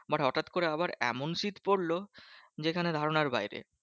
But হটাৎ করে আবার এমন শীত পড়লো যেখানে ধারণার বাইরে?